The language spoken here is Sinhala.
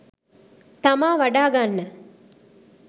තමා වඩා ගන්න